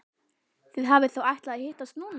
Þið hafið þá ætlað að hittast núna.